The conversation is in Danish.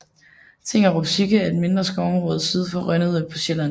Tingerup Tykke er et mindre skovområde syd for Rønnede på Sjælland